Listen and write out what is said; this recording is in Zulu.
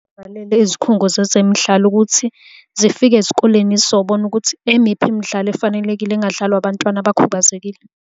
Bhalele izikhungo zezemidlalo ukuthi zifike ezikoleni zizobona ukuthi emiphi imidlalo efanelekile engadlalwa abantwana abakhubazekile.